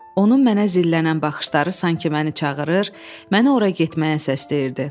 Onun mənə zillənən baxışları sanki məni çağırır, məni ora getməyə səsləyirdi.